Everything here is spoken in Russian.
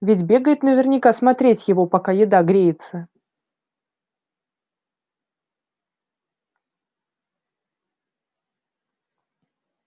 ведь бегает наверняка смотреть его пока еда греется